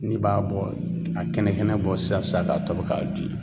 N'i b'a bɔ , a kɛnɛ kɛnɛ bɔ sisan sisan ka tobi ka di